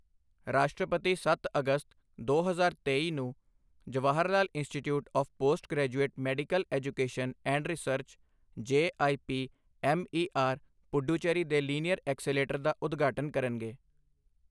ਰਾਸ਼ਟਰਪਤੀ ਸੱਤ ਅਗਸਤ, ਦੋ ਹਜ਼ਾਰ ਤੇਈ ਨੂੰ Jawaharlal institute of postgraduate medical education and research JIPMER, Puducherry ਦੇ ਲੀਨੀਅਰ ਐਕਸੇਲੇਟਰ ਦਾ ਉਦਘਾਟਨ ਕਰਨਗੇ।